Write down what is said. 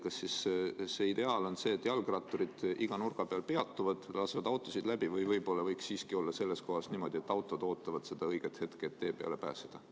Kas ideaal on siis see, et jalgratturid peatuvad iga nurga peal ja lasevad autosid läbi või võib-olla võiks selles kohas siiski olla niimoodi, et autod ootavad seda õiget hetke, et tee peale pääseda?